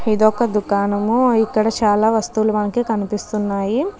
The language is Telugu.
ఇది ఒక దుకాణం. ఇక్కడ చాలా వస్తువులు మనకు కనిపిస్తున్నాయి.